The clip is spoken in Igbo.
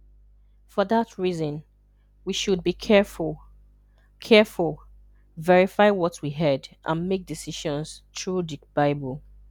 For that reason, we should be careful, careful, verify what we heard, and make decisions through the Bible.